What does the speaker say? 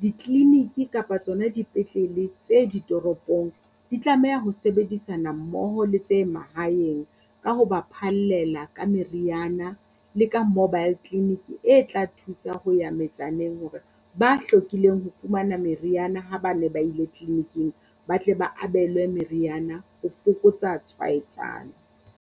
ditleleniki kapa tsona dipetlele tse ditoropong, di tlameha ho sebedisana mmoho le tse mahaeng ka ho ba phallela ka meriana le ka mobile clinic e tla thusa ho ya metsaneng hore ba hlokileng ho fumana meriana ha ba ne ba ile tleleniking, ba tle ba abelwe meriana ho fokotsa tshwaetsano.